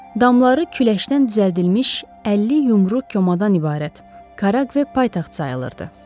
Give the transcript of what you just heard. Damları küləşdən düzəldilmiş 50 yumru komadan ibarət Karaqve paytaxt sayılırdı.